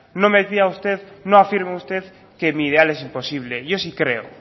no me pida usted no afirme usted que mi ideal es imposible yo sí creo